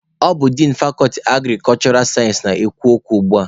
Ọ bụ din fakọlti agrikulshura sayensị na-ekwu okwu ugbua.